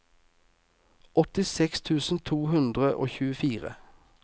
åttiseks tusen to hundre og tjuefire